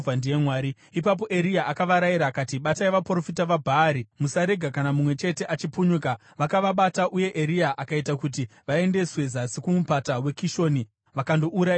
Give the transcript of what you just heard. Ipapo Eria akavarayira akati, “Batai vaprofita vaBhaari. Musarega kana mumwe chete achipunyuka!” Vakavabata, uye Eria akaita kuti vaendeswe zasi kuMupata weKishoni vakandourayirwako.